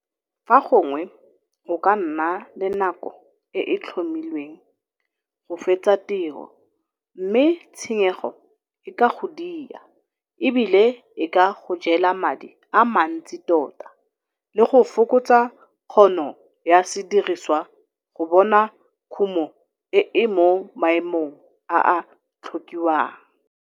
Fa gongwe o ka nna le nako e e tlhomilweng go fetsa tiro mme tshenyego e ka go dia e bile e ka go jela madi a mantsi tota le go fokotsa kgono ya sediriswa go bona kumo e e mo maemong a a tlhokiwang.